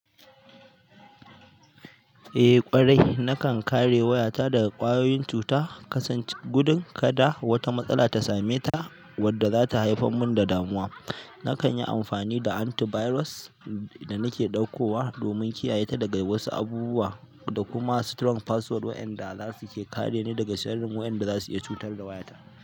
Eh ƙwarai nakan kare wayata daga ƙwayoyin cuta, kasance gudun kada wata matsala ta same ta wadda zata haifar mun da damuwa. Nakan yi amfani da anti virus da nake ɗaukowa domin kiyaye daga wasu abubuwa da kuma strong password waƴanda zasu ke kare ni daga sharrin wa ƴan da zasu iya cutar da wayata.